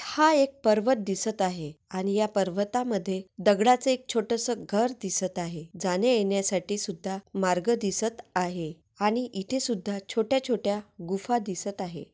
हा एक पर्वत दिसत आहे आणि या पर्वतामध्ये दगडाचे एक छोटसं घर दिसत आहे जाण्या येण्या साठी सुद्धा मार्ग दिसत आहे आणि इथे सुद्धा छोट्या छोट्या गुफा दिसत आहे.